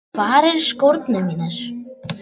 Hvar eru skórnir mínir?